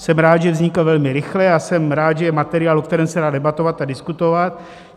Jsem rád, že vznikl velmi rychle, a jsem rád, že je materiál, o kterém se dá debatovat a diskutovat.